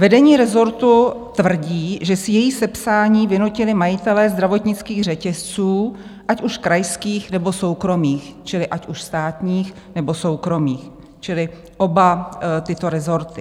Vedení rezortu tvrdí, že si její sepsání vynutili majitelé zdravotnických řetězců, ať už krajských, nebo soukromých, čili ať už státních, nebo soukromých, čili oba tyto rezorty.